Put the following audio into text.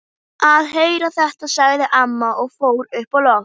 Að heyra þetta, sagði amma og fór upp á loft.